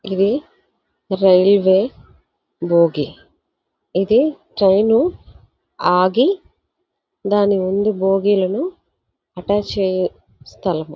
ఇది రైల్వే భోగి .ఇది ట్రైను ఆగి దాని ముందు భోగీలను అటాచ్ చేయు స్థలము.